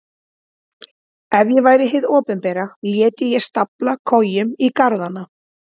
Ef ég væri hið opinbera léti ég stafla kojum í garðana.